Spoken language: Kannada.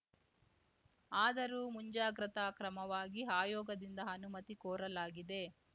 ಆದರೂ ಮುಂಜಾಗ್ರತಾ ಕ್ರಮವಾಗಿ ಆಯೋಗದಿಂದ ಅನುಮತಿ ಕೋರಲಾಗಿದೆ